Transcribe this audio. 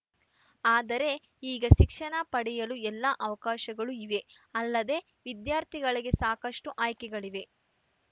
ಆದರೆ ಈಗ ಶಿಕ್ಷಣ ಪಡೆಯಲು ಎಲ್ಲಾ ಅವಕಾಶಗಳೂ ಇವೆಅಲ್ಲದೆ ವಿದ್ಯಾರ್ಥಿಗಳಿಗೆ ಸಾಕಷ್ಟುಆಯ್ಕೆಗಳಿವೆ